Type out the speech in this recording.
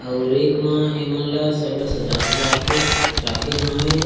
और एक म एमन ल सब म सजा-सजा के राखे हवे।